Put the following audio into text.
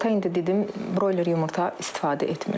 Yumurta indi dedim broyler yumurta istifadə etmirəm.